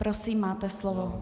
Prosím, máte slovo.